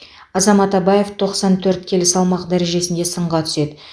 азамат абаев тоқсан төрт келі салмақ дәрежесінде сынға түседі